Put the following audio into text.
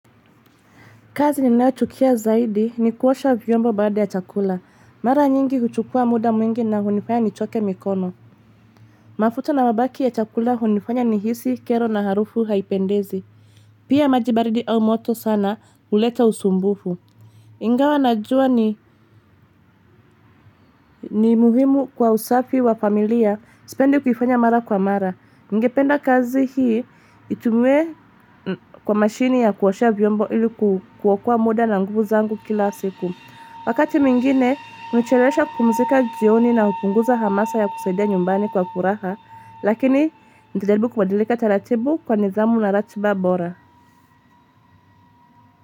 Kazi ninayo chukia zaidi ni kuosha vyombo baada ya chakula. Mara nyingi huchukua muda mwingi na hunifanya nichoke mikono. Mafuta na mabaki ya chakula hunifanya nihisi, kero na harufu haipendezi. Pia maji baridi au moto sana huleta usumbufu. Ingawa najua ni muhimu kwa usafi wa familia sipendi kufanya mara kwa mara. Nigependa kazi hii itumiwe kwa mashini ya kuoshea vyombo iliku kuokoa muda na nguvu zangu kila siku. Wakati mengine, hunichelesha kupumzika jioni na hupunguza hamasa ya kusaidia nyumbani kwa furaha, lakini nitajaribu kubadilika taratibu kwa nidhamu na ratiba bora.